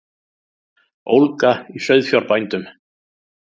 Ólga í sauðfjárbændum